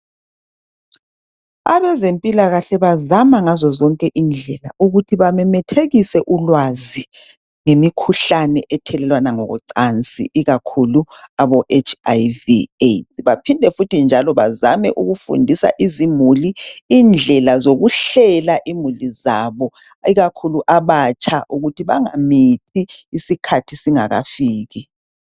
Abezempilakahle bazama ngazo zonke indlela ukuthi bamemethekise ulwazi ngemikhuhlane ethelelwana ngokocansi ikakhulu aboHIV/AIDS.Baphinde futhi njalo bazame ukufundisa izimuli indlela zokuhlela imuli zabo ikakhulu abatsha ukuthi bangamithi isikhathi singakafiki.